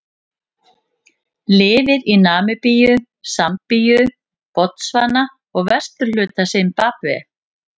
Lifir í Namibíu, Sambíu, Botsvana og vesturhluta Simbabve.